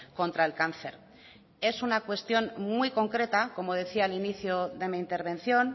contra el cáncer es una cuestión muy concreta como decía al inicio de mi intervención